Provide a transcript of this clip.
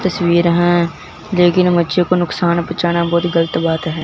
तस्वीर हैं लेकिन बच्चों को नुकसान पहुंचाना बहुत गलत बात है।